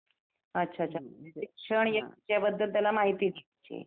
अ कशी असते यात्रा त्याबद्दल थोडी माहिती सांगा ना मला?